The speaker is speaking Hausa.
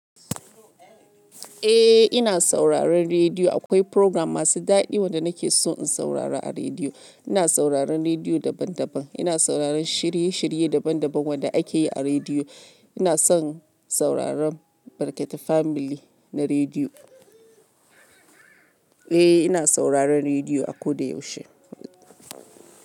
Eh ina sauraron rediyo. Akwai program masu daɗi wanda nake so in saurara a rediyo. Ina sauraron rediyo daban daban. Ina sauraron shiri shiri daban daban wanda ake yi a rediyo. Ina son sauraron Barketa Family na rediyo. Eh ina sauraron rediyo a koda yaushe.